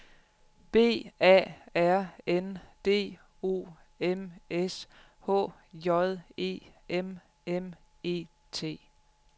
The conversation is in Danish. B A R N D O M S H J E M M E T